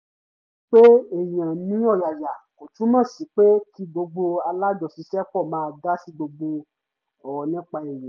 pé èèyàn ní ọ̀yàyà kò túmọ̀ sí pé kí gbogbo alájọṣiṣẹ́pọ̀ máa dá sí gbogbo ọ̀rọ̀ nípa èèyàn